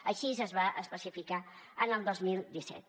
així es va especificar el dos mil disset